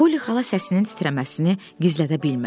Poli xala səsinin titrəməsini gizlədə bilmədi.